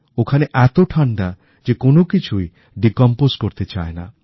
ওখানে এত ঠাণ্ডা যে কোনও কিছুই গলতেচায় না